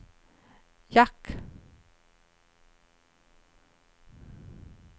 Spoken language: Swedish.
jack